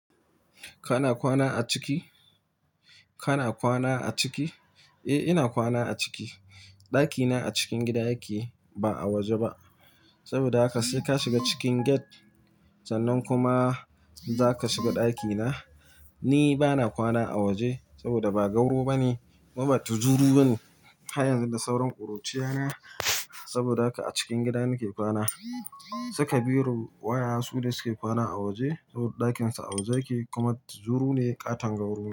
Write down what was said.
Kana kwana a ciki? Kana kwana a ciki? Eh, ina kwana a ciki. Dakina a cikin gida yake, ba a waje ba. Saboda haka sai ka shiga cikin gate, sannan kuma zaka shiga dakina. Ni bana kwana a waje saboda ba gauro bane, kuma ba tuzuru bane. Har yanzu da sauran kuruciya ne. Saboda haka a cikin gida nake kwana. Saka biro wayayyen su ne suke kwana a waje saboda dakinsu a waje yake kuma tuzuru ne ƙaton gauro.